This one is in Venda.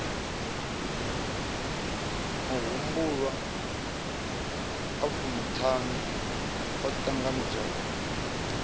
mahumbulwa a fumiṱhanu o ṱanganedzwaho